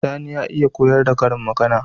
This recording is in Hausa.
Sani ya iya koyar da karin magAna